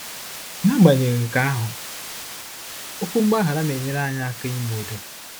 Nagbanyeghị nke ahụ, okwu mgbaghara na-enyere anyị aka ime udo.